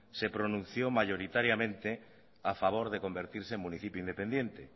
se pronunció mayoritariamente a favor de convertirse en municipio independiente